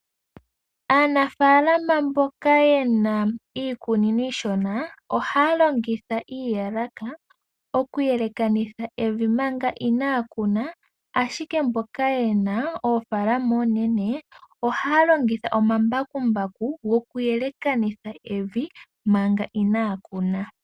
Aanafaalama mboka ye na iikunino iishona, ohaa longitha iiyalaka oku yelekanitha evi manga inaa ya kuna, ashike mbono ye na oofaalama oonene ohaa longitha omambakumbaku goku yelekanitha evi manga inaa kuna.